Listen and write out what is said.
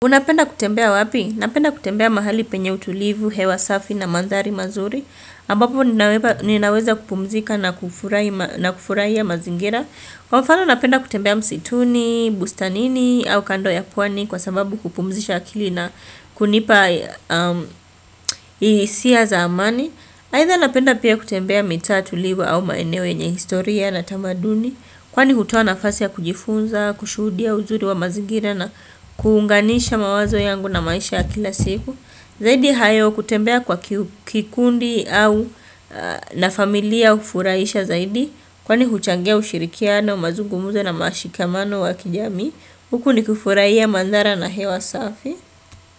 Unapenda kutembea wapi? Napenda kutembea mahali penye utulivu, hewa safi na mandhari mazuri. Ambapo ninaweva ninaweza kupumzika na kufurai na kufurahia mazingira. Kwa mfano napenda kutembea msituni, bustanini au kando ya pwani kwa sababu kupumzisha akili na kunipa a m hisia za amani. Haidha napenda pia kutembea mitaa, tulivu au maeneo yenye historia na tamaduni. Kwani hutoa nafasi ya kujifunza, kushudia uzuri wa mazigira na kuunganisha mawazo yangu na maisha ya kila siku. Zaidi hayo kutembea kwa ki kikundi au na familia ufuraisha zaidi. Kwani huchangia ushirikiano, mazugumuzo na mashikamano wa kijamii. Huku ni kufurahia mandhara na hewa safi.